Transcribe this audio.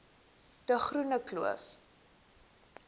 de groene kloof